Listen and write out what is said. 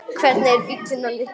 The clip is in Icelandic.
Hvernig er bíllinn á litinn?